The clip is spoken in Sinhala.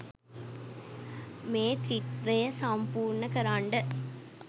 මේ ත්‍රිත්ත්වය සම්පූර්ණ කරන්ඩ